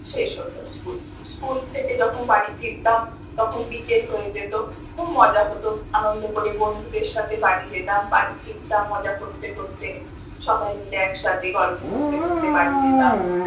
শেষ হত school school থেকে যখন বাড়ি ফিরতাম তখন বিকেল হয়ে যেত, খুব মজা হত আনন্দ করে বন্ধুদের সাথে বাড়ি যেতাম বাড়ি ফিরতাম মজা করতে করতে, সবাই মিলে একসাথে গল্প করতে করতে বাড়ি যেতাম